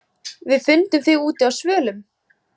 Við fundum þig úti á svölum.